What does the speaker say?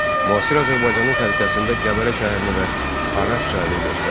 Müasir Azərbaycanın xəritəsində Qəbələ şəhərini və Araz çayını göstər.